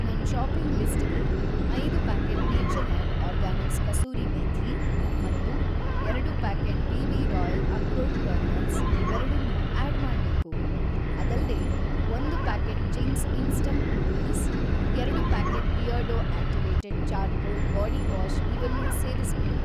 ನನ್‌ ಷಾಪಿಂಗ್‌ ಲಿಸ್ಟಿಗೆ ಐದು packet Natureland organics kasuri methi ಮತ್ತು ಎರಡು packet BB. Royal akhrot kernels ಇವೆರಡನ್ನೂ ಆಡ್‌ ಮಾಡ್ಬೇಕು. ಅದಲ್ದೇ, ಒಂದು ಪ್ಯಾಕೆಟ್ ಚಿಂಗ್ಸ್ ಇನ್‌ಸ್ಟಂಟ್‌ ನೂಡಲ್ಸ್, ಎರಡು packet Beardo activated charcoal body wash ಇವನ್ನೂ ಸೇರಿಸ್ಬಿಡು.